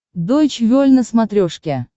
дойч вель на смотрешке